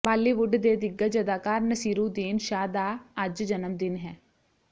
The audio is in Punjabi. ਬਾਲੀਵੁੱਡ ਦੇ ਦਿੱਗਜ ਅਦਾਕਾਰ ਨਸੀਰੂਦੀਨ ਸ਼ਾਹ ਦਾ ਅੱਜ ਜਨਮ ਦਿਨ ਹੈ